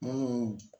Munnu